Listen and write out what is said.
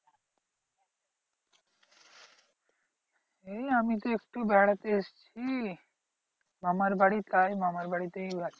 এই আমি তো একটু বেড়াতে এসেছি মামার বাড়ি। তাই মামার বাড়িতেই আছি।